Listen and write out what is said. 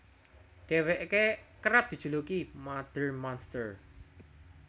Dhéwéké kerep dijuluki Mother Monster